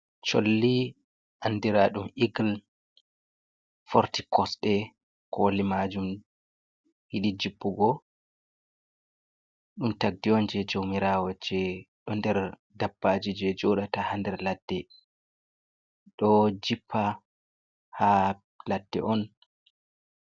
Cholli andiraa ɗum eagle, forti kosɗe, koli majum yiɗi jippugo. Ɗum tagdi on jei jaumirawo jei ɗo nder dabbaaji jei joɗata haa nder ladde. Ɗo jippa haa ladde on.